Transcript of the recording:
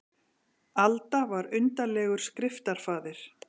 Alda var undarlegur skriftafaðir.